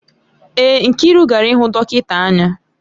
Èé, Nkiru gara ịhụ dọkịta anya